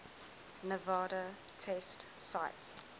nevada test site